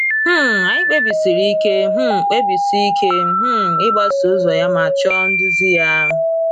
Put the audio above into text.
um Anyị kpebisiri ike um kpebisiri ike um ịgbaso ụzọ ya ma chọọ nduzi ya.